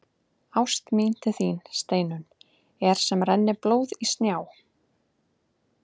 Ást mín til þín, Steinunn, er sem renni blóð í snjá.